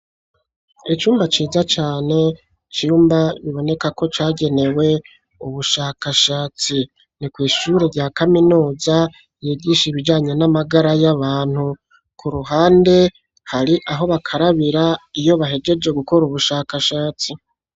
Icumba ciza cane cumba biboneka ko cagenewe ubushakashatsi ni kwishuri rya kaminuza yigisha ibijyanye n'amagara y'abantu ku ruhande hari aho bakarabira iyo bahegeje gukora ubushakashatsi.